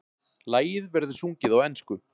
Lagið verður sungið á ensku